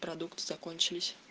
продукты закончились